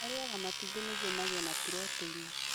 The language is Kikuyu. Arĩaga matumbĩ nĩguo magĩe na puroteini.